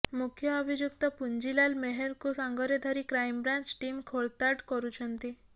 ମୁଖ୍ୟ ଅଭିଯୁକ୍ତ ପୁଞ୍ଜିଲାଲ ମେହେରକୁ ସାଙ୍ଗରେ ଧରି କ୍ରାଇମବ୍ରାଞ୍ଚ ଟିମ୍ ଖୋଳତାଡ଼ କରୁଛନ୍ତି